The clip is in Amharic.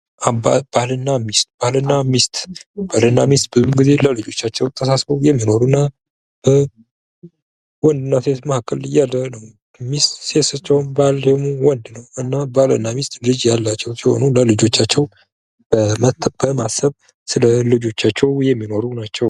ባልና ሚስት፦ ባልና ሚስት ብዙውን ጊዜ ለልጆቻቸው ተሳስበው የሚኖሩና ወንድና ሴት መካከለ ያለ ነው ሚስት ሴት ስትሆን ባል ደግሞ ወንድ ነው እና ባልና ሚስት ልጅ ያላቸው ሲሆን ለልጆቻቸው በማሰብ ስለልጆቻቸው የሚኖሩ ናቸው።